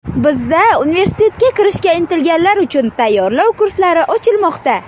Bizda universitetga kirishga intilganlar uchun tayyorlov kurslari ochilmoqda!